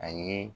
A ye